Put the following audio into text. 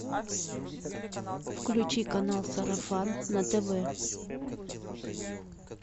включи канал сарафан на тв